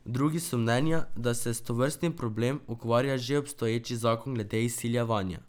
Drugi so mnenja, da se s tovrstnim problem ukvarja že obstoječi zakon glede izsiljevanja.